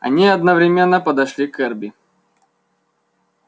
они одновременно подошли к эрби